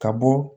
Ka bɔ